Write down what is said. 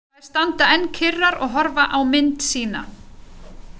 Þær standa enn kyrrar og horfa á mynd sína.